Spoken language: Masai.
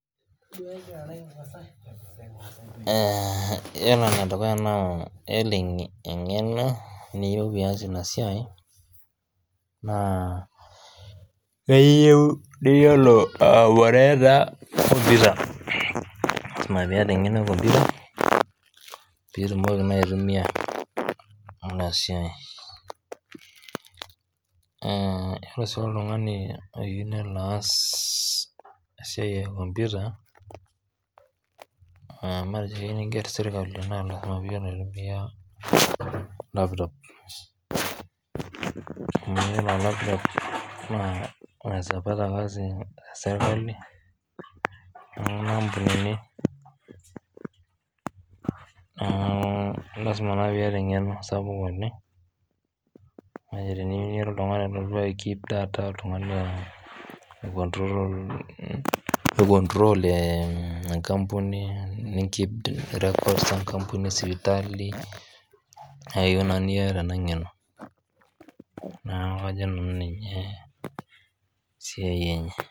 Yiolo enedukuya naa yiolo eng'eno niyieu pias inasiai, naa keyieu niyiolo ai opareta kompita. Lasima piata eng'eno ekompita, pitumoki naitumia inasiai. Yiolo si oltung'ani oyieu nelo aas esiai ekompita, matejo keu niger sirkali, na lasima piyiolo aitumia lapitop. Amu yiolo lapitop naa unaeza pata kazi kwa serkali, neeku lasima naa piata eng'eno sapuk oleng, kake tenira oltung'ani olotu aikip data, oltung'ani oi control enkampuni, ni keep records esipitali, neyieu naa niata ena ng'eno. Neeku kajo nanu ninye esiai enye.